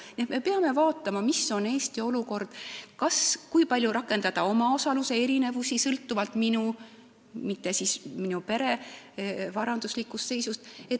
Nii et me peame vaatama, milline on Eesti olukord ja kui palju tuleks rakendada omaosaluse erinevusi, sõltuvalt inimese, aga mitte tema pere varanduslikust seisust.